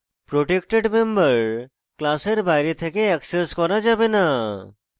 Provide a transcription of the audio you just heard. protected member class বাইরে থেকে access করা যাবে না